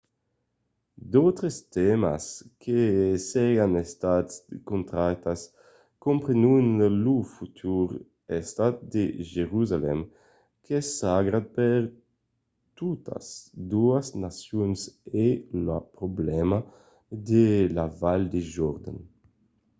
d'autres tèmas que serián estats tractats comprenon lo futur estat de jerusalèm qu'es sagrat per totas doas nacions e lo problèma de la val de jordan